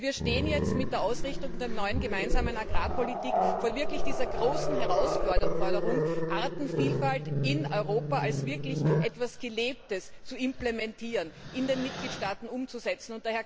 Wir stehen jetzt mit der Ausrichtung der neuen gemeinsamen Agrarpolitik vor dieser großen Herausforderung, Artenvielfalt in Europa als etwas wirklich Gelebtes zu implementieren und in den Mitgliedstaaten umzusetzen.